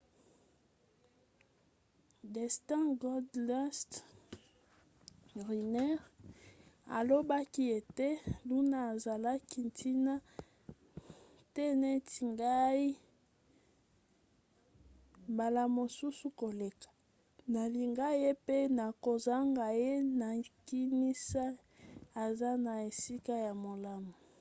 dustin goldust runnels alobaki ete luna azalaki ntina te neti ngai...mbala mosusu koleka...nalinga ye pe nakozanga ye...nakinisi aza na esika ya malamu.